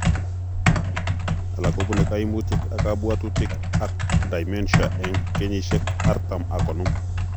Alak kobuune kaimutic ab kabwatutik ak dementia eng' kenyisiek artam ak konom